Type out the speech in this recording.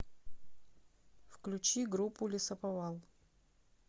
включи группу лесоповал